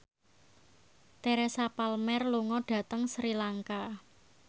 Teresa Palmer lunga dhateng Sri Lanka